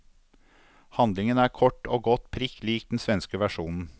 Handlingen er kort og godt prikk lik den svenske versjonen.